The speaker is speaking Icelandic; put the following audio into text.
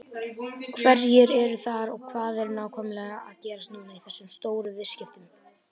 Hverjir eru þar og hvað er nákvæmlega að gerast núna í þessum stóru viðskiptum?